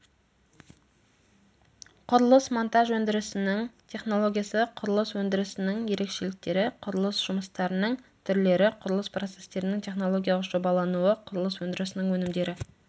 құрылыс-монтаж өндірісінің технологиясы құрылыс өндірісінің ерекшеліктері құрылыс жұмыстарының түрлері құрылыс процестерінің технологиялық жобалануы құрылыс өндірісінің өнімдері